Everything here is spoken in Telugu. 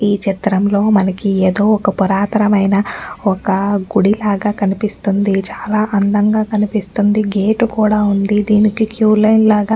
ఈ చిత్రంలో మనకి ఏదో ఒక పురాతనమైన ఒక గుడిలాగా కనిపిస్తుంది చాలా అందంగా కనిపిస్తుంది గేట్ కూడా ఉంది దీనికి క్యూ లైన్ లాగా --